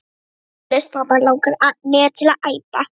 Þetta er vonlaust mamma langar mig til að æpa.